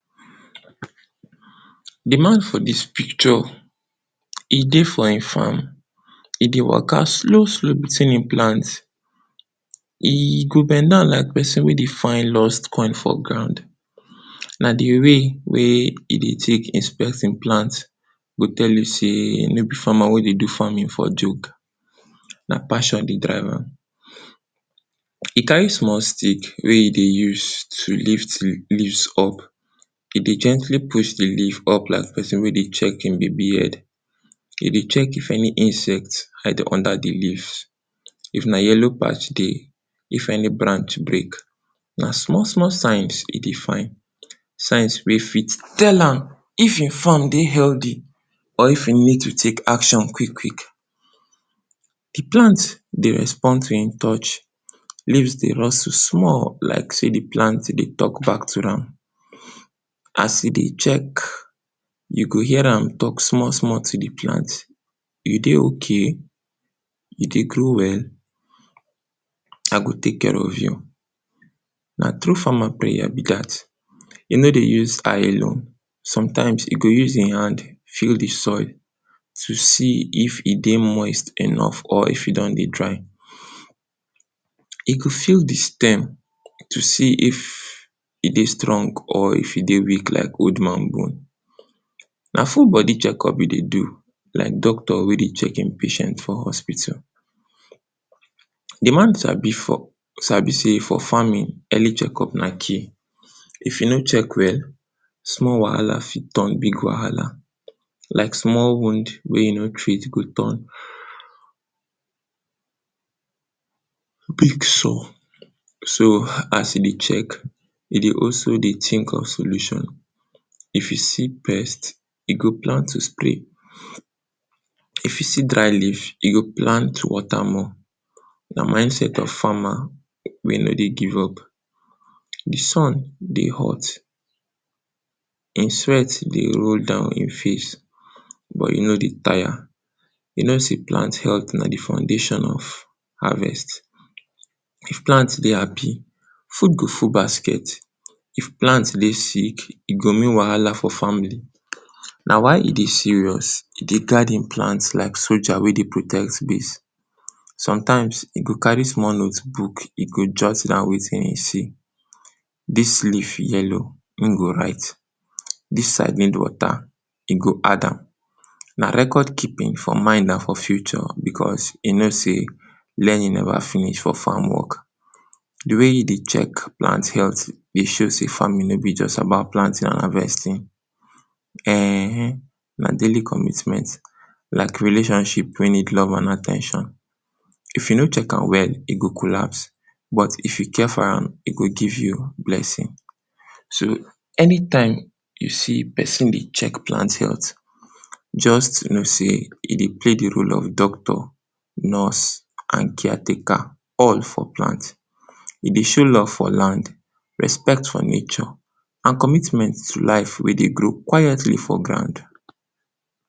Di man for dis picture, e dey for in farm, e dey waka slow slow, wetin ein plant, e go bend down like person wey dey find lost coin for ground, na di way wey e dey tek inspect im plant go tell you sey no be farmer wey dey do farming for joke, na passion dey drive am. E carry small stick wey e dey use to lift di leaves up, e dey gently push di leave up like person wey dey check im baby head. E dey check if any insect hide under di leaves, if na yellow patch dey, if any branch break, na small small signs e dey find, signs wey fit tell am if e farm dey healdi or if e need to take action quick quick. Di plant dey respond to e touch, di leaves dey rustle small like sey di plant dey talk back to am, as e dey check, you go hear am talk small small to di plant, you dey ok? you dey grow well? I go take care of you. Na true farmer prayer be dat, e no dey use eye alone, sometimes e go use e hand feel di soil to see if e dey moist enough or if e don dey dry. E go feel di stem to see if e dey strong or if e dey weak like old man bone, na full body checkup e dey do, like doctor wey dey check im patient for hospital. Di man sabi for, sabi sey for farming, early checkup na key, if you no check well, small wahala fit turn big wahala, like small wound wey you no treat go turn big sore. So, as e dey check, e dey also dey tink of solution, if you see pest, you go plan to spray, if you see dry leave, you go plan to water more, na mindset of farmer wey no dey give up. Di sun dey hot, e sweat dey roll down e face but e no dey tire, you know sey plant healt na di foundation of harvest. If plant dey happy, food go full basket. if plant dey sick e go mean wahala for family na why e dey serious, e dey guard im plants like soldier wey dey protect im base. sometimes e go carry small notebook, im go jot down wetin im see, this leaf yellow, im go write, this side need water, im go add am. na record keeping for mind for future because e no say learning never finish for farm work. di way im dey check plant health dey show say farmimg no bi just about planting and harvesting. eehh na daily committment like relationship wey need love and at ten tion. if you no check am well, e go collapse but if you care for am, e go give you. so anytime you see person dey check plant health just know say im dey play the role of doctor, nurse and caretaker all for plant. e dey show love for land, respect for nature and committment to life wey dey grow quietly before ground